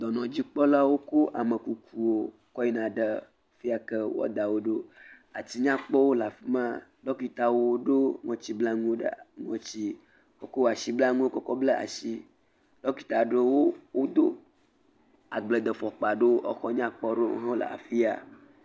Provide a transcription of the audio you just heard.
Dɔnɔdzikpɔlawo kɔ amekuku kɔ yina ɖe fiya ke woada wo ɖo. atinyakpɔwo le afi ma. Ɖɔkitawo ɖo ŋɔtiblanu ɖe ŋtsi, ekɔ asiblanu kɔkɔ bla asi. Ɖɔkta aɖewo wodo agbledefɔkpa aɖewo. Exɔ nyakpɔ aɖewo hã le afi ya.